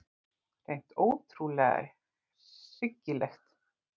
Hreint ótrúlega hryggilegt.